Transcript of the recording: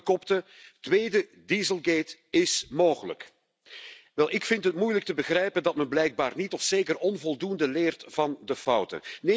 Kranten kopten tweede dieselgate is mogelijk. Wel, ik vind het moeilijk te begrijpen dat men blijkbaar niet of zeker onvoldoende leert van de fouten.